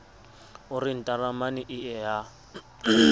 o re ntaramane ee ya